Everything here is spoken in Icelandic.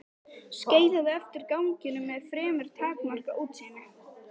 Skeiðaði eftir ganginum með fremur takmarkað útsýni.